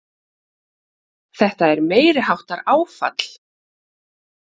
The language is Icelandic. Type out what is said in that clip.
Þetta er meiriháttar áfall!